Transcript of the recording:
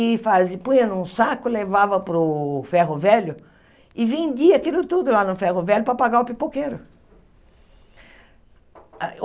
E fazi punha num saco, levava para o ferro velho e vendia aquilo tudo lá no ferro velho para pagar o pipoqueiro.